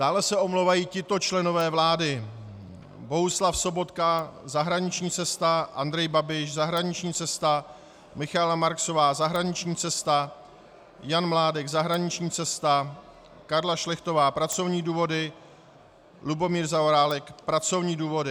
Dále se omlouvají tito členové vlády: Bohuslav Sobotka - zahraniční cesta, Andrej Babiš - zahraniční cesta, Michaela Marksová - zahraniční cesta, Jan Mládek - zahraniční cesta, Karla Šlechtová - pracovní důvody, Lubomír Zaorálek - pracovní důvody.